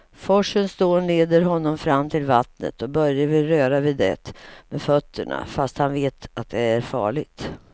Forsens dån leder honom fram till vattnet och Börje vill röra vid det med fötterna, fast han vet att det är farligt.